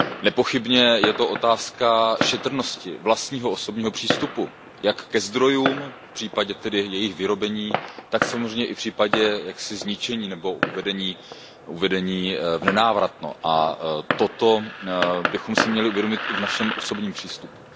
Nepochybně je to otázka šetrnosti, vlastního osobního přístupu jak ke zdrojům, případně tedy k jejich vyrobení, tak samozřejmě i v případě jaksi zničení nebo uvedení v nenávratno a toto bychom si měli uvědomit i v našem osobním přístupu.